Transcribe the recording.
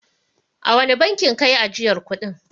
A wane bankin ka yi ajiyar kuɗin.